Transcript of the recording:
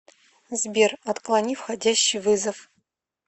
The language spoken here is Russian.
сбер отклони входящий вызов